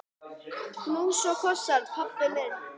Knús og kossar, pabbi minn.